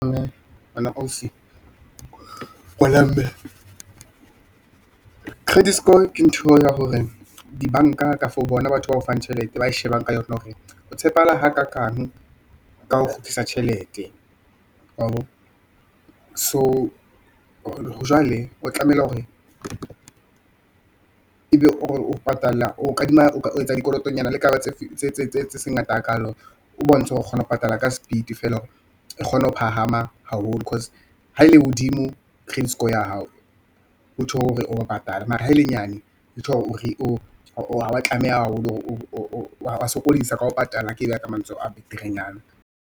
Wena ausi ngwana mme, credit score ke ntho ya hore dibanka kafo bona batho bao fang tjhelete ba e shebang ka yona hore o tshepahala hakakang ka ho kgutlisa tjhelete wa bo. So jwale o tlameha hore ebe o etsa dikolotonyana le kapa tse seng ngata hakalo. O bontshe ho re o kgona ho patala ka speed feela hore e kgone ho phahama haholo cause ha e le hodimo credit score ya hao, ho tjho hore wa patale mara ha e le nyane ho tjho hore wa sokodisa ka ho patala, ke e beha ka mantswe a beterenyana.